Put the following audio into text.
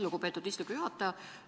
Lugupeetud istungi juhataja!